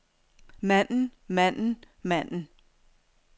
manden manden manden